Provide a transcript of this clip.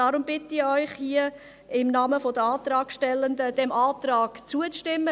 Deshalb bitte ich Sie, im Namen der Antragstellenden diesem Antrag zuzustimmen.